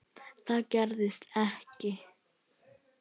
Það gerist ekki.